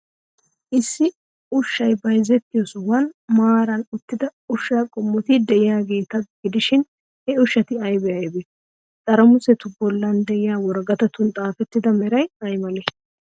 Issi ushshay bayzettiyoo sohuwan maaran uttida ushshaa qommoti de'iyaageeta gidishin, he ushshati aybee aybee? Xarimusetu bollan de'iyaa woraqatatun xaafettidabatu meray ay malee?